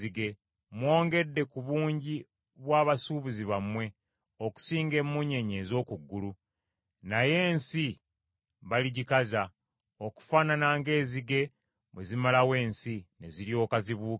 Mwongedde ku bungi bwa basuubuzi bammwe okusinga emmunyeenye ez’oku ggulu. Naye ensi baligikaza okufaanana ng’enzige bwe zimalawo ensi ne ziryoka zibuuka.